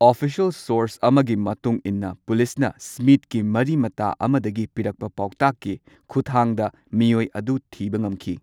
Official source ꯑꯃꯒꯤ ꯃꯇꯨꯡ ꯏꯟꯅ ꯄꯨꯂꯤꯁꯅ ꯁ꯭ꯃꯤꯊꯀꯤ ꯃꯔꯤ ꯃꯇꯥ ꯑꯃꯗꯒꯤ ꯄꯤꯔꯛꯄ ꯄꯥꯎꯇꯥꯛꯀꯤ ꯈꯨꯠꯊꯥꯡꯗ ꯃꯤꯑꯣꯏ ꯑꯗꯨ ꯊꯤꯕ ꯉꯝꯈꯤ꯫